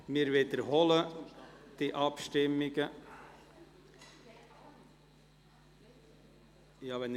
Wir wiederholen die Abstimmungen des Traktandums 55: